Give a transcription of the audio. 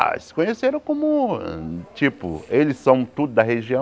Ah, se conheceram como, tipo, eles são tudo da região.